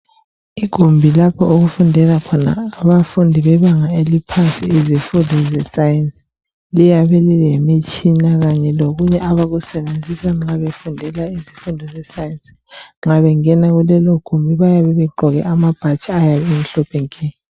Igumbi lapho okufundela khona abafundi bebanga eliphansi ezifundweni zescience liyabe lilemitshina kanye lokunye abakusebenzisa nxa befundiswa isifundo sescience. Nxa bengena kulelo gumbi bayabe begqoko amabhatshi amhlophe.